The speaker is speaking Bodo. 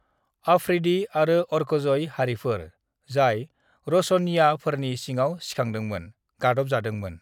"अफरीदी आरो ओरकजई हारिफोर, जाय रोशनिय्याफोरनि सिङाव सिखांदोंमोन, गादबजादोंमोन।"